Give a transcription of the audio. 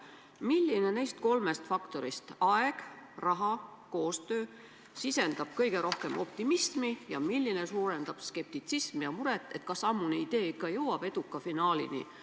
Milline neist kolmest faktorist – aeg, raha, koostöö – sisendab kõige rohkem optimismi ja milline suurendab skeptitsismi ja muret, kas ammune idee ikka jõuab eduka finaalini?